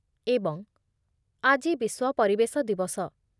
ଏବଂ ଆଜି ବିଶ୍ୱ ପରିବେଶ ଦିବସ ।